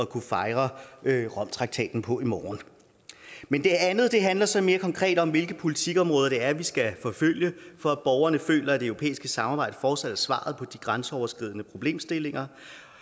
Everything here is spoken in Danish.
kunne fejre romtraktaten på i morgen men det andet handler så mere konkret om hvilke politikområder vi skal forfølge for at borgerne føler at det europæiske samarbejde fortsat er svaret på de grænseoverskridende problemstillinger